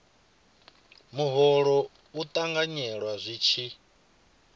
muholo u ṱanganyelwa zwi tshi